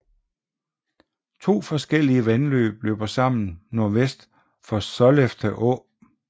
To forskellige vandløb løber sammen nordvest for Sollefteå